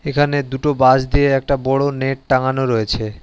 এখানে দুটো বাঁশ দিয়ে একটা বড় নেট টাঙ্গানো রয়েছে।